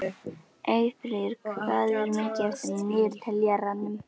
Eyfríður, hvað er mikið eftir af niðurteljaranum?